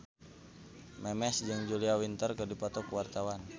Memes jeung Julia Winter keur dipoto ku wartawan